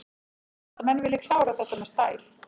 Ég held að menn vilji klára þetta með stæl.